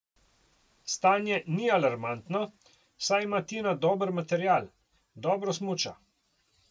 Stanje ni alarmantno, saj ima Tina dober material, dobro smuča.